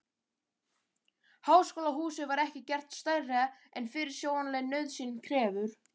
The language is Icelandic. Háskólahúsið var ekki gert stærra en fyrirsjáanleg nauðsyn krefur.